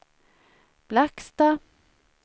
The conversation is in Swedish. Blackstad